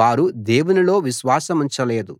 వారు దేవునిలో విశ్వాసముంచలేదు